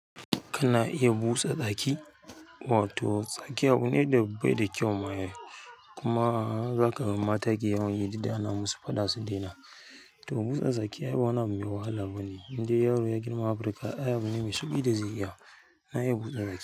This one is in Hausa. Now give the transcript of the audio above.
Kana iya busa tsaki? Wato tsaƙ abune da bai da kyau ma ai. Kuma zaka ga mata ke yawan yi dik da ana masu faɗa su daina. To busa tsaki ai ba wani abu mai wahala bane, indai yaro ya girman Afirka. Ai abune mai sauƙi da zai iya na iya busa tsaki.